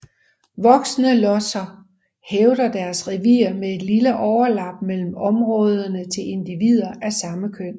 Voksne losser hævder deres revir med et lille overlap mellem områderne til individer af samme køn